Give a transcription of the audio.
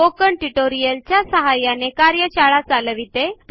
spoken tutorial च्या सहाय्याने कार्यशाळा चालविते